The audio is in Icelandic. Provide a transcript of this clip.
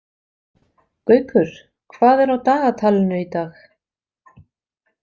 Gaukur, hvað er á dagatalinu í dag?